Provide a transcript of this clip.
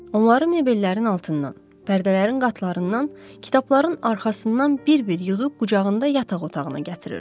Onları mebellərin altından, pərdələrin qatlarından, kitabların arxasından bir-bir yığıb qucağında yataq otağına gətirirdi.